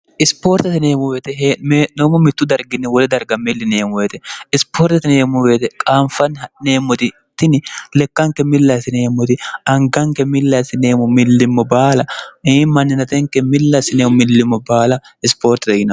ispoortete yineemoweete heneemmo mittu darginni wole darga millineemmoeete isipoortete neemmobeete qaanfanni ha'neemmotitini lekkanke millasineemmoti anganke millasineemu millimmo baala ii manninatenke millasi neemu millimmo baala ispoorte e yin